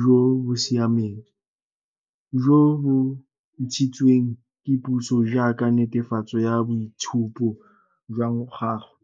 jo bo siameng, jo bo ntshitsweng ke puso jaaka netefatso ya boitshupo jwa gagwe.